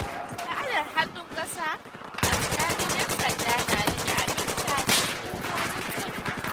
Al’adar “hannu ƙasa” a tsakanin ‘yan sanda na rage aminta da hukumomin tsaro.